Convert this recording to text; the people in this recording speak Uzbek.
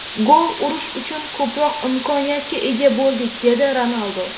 Gol urish uchun ko‘proq imkoniyatga ega bo‘ldik”, dedi Ronaldu.